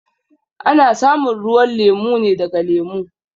A na samun ruwan lemu ne daga lemu.